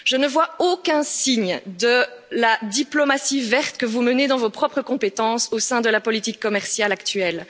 Je ne vois aucun signe de la diplomatie verte que vous menez dans vos propres compétences au sein de la politique commerciale actuelle.